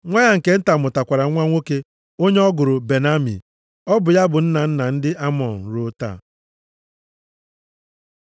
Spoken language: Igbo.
Nwa ya nke nta mụtakwara nwa nwoke onye ọ gụrụ Ben-Ammi. Ọ bụ ya bụ nna nna ndị Amọn ruo taa.